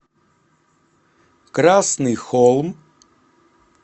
красный холм